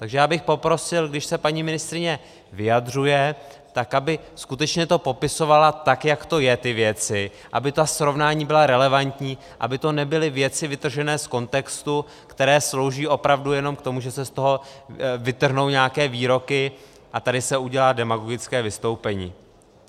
Takže já bych poprosil, když se paní ministryně vyjadřuje, tak aby skutečně to popisovala tak, jak to je, ty věci, aby ta srovnání byla relevantní, aby to nebyly věci vytržené z kontextu, které slouží opravdu jenom k tomu, že se z toho vytrhnou nějaké výroky a tady se udělá demagogické vystoupení.